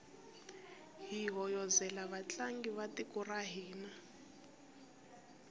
hi hoyozela vatlangi va tiko ra hina